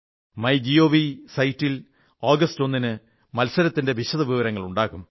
my GOV വെബ്സൈറ്റിൽ August 1 ന് മത്സരത്തിന്റെ വിശദവിവരങ്ങളുണ്ടാകും